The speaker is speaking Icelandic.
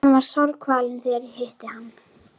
Hann var sárkvalinn þegar ég hitti hann.